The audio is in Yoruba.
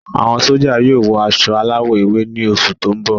Àwọn sójà yóò wọ aṣọ aláwọ̀ ewé ni oṣù tó ń bọ